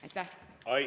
Aitäh!